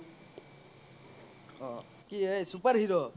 অহ কি এ super hero